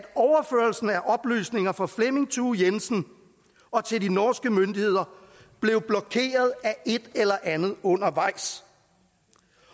oplysninger fra flemming thue jensen til de norske myndigheder blev blokeret af et eller andet undervejs